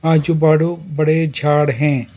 आजू बाजू बड़े झाड़ हैं।